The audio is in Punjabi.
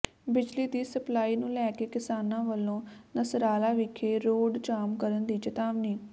ਬਿਜਲੀ ਦੀ ਸਪਲਾਈ ਨੂੰ ਲੈ ਕੇ ਕਿਸਾਨਾਂ ਵਲੋਂ ਨਸਰਾਲਾ ਵਿਖੇ ਰੋਡ ਜਾਮ ਕਰਨ ਦੀ ਚਿਤਾਵਨੀ